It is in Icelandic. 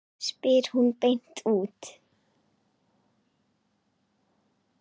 spyr hún beint út.